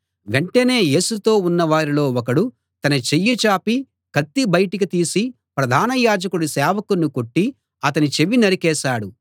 వెంటనే యేసుతో ఉన్నవారిలో ఒకడు తన చెయ్యి చాపి కత్తి బయటికి తీసి ప్రధాన యాజకుడి సేవకుణ్ణి కొట్టి అతని చెవి నరికేశాడు